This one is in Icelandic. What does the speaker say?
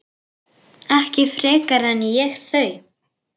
Ekki frekar en ég þau.